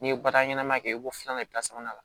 N'i ye bataɲɛnɛma kɛ i b'o filanan i bi sabanan la